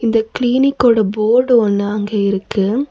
இந்த கிளினிக்கோட போர்டு ஒன்னு அங்க இருக்கு.